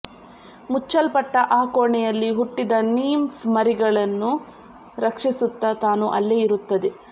ಮುಚ್ಚಲ್ಪಟ್ಟ ಆ ಕೋಣೆಯಲ್ಲಿ ಹುಟ್ಟಿದ ನಿಂಫ್ ಮರಿಗಳನ್ನು ರಕ್ಷಿಸುತ್ತಾ ತಾನು ಅಲ್ಲೇ ಇರುತ್ತದೆ